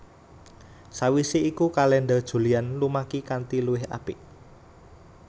Sawisé iku kalèndher Julian lumaki kanthi luwih apik